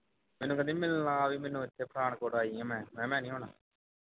ਮੈਨੂੰ ਕਹਿੰਦੀ ਮਿਲਣ ਆ ਮੈਨੂੰ ਇੱਥੇ ਪਠਾਨਕੋਟ ਆਇਆ ਹਾਂ ਮੈਂ ਮੈਂ ਕਿਹਾ ਮੈਂ ਨਹੀਂ ਆਉਣਾ